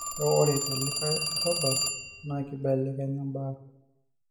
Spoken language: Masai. Kake ore telikae arabal naa kibelekenya imbaa